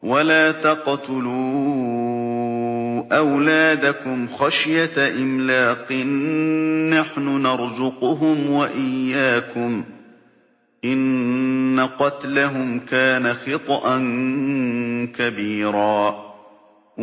وَلَا تَقْتُلُوا أَوْلَادَكُمْ خَشْيَةَ إِمْلَاقٍ ۖ نَّحْنُ نَرْزُقُهُمْ وَإِيَّاكُمْ ۚ إِنَّ قَتْلَهُمْ كَانَ خِطْئًا كَبِيرًا